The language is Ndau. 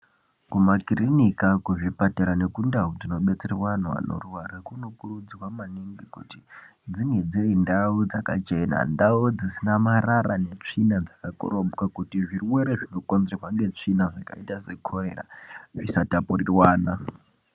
Kumakirinika kuzvipatara nekundau dzinobetsera vanhu vanorwara kunokurudzwa manhingi kuti dzinge dzinendau dzakachena ndau dzisina marara netsvina dzakakorobwa kuti zvirwere zvinokonzerwa ngetsvina dzakaita sekorera dzisatapurirwana